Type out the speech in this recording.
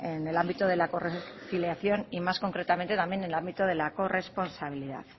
en el ámbito de la conciliación y más concretamente también en el ámbito de la corresponsabilidad